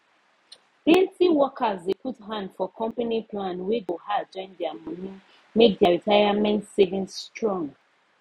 plenty workers dey put hand for company plan wey go add join their money make their retirement savings strong